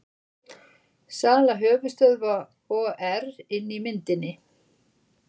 Sala höfuðstöðva OR inni í myndinni